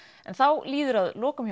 en þá líður að lokum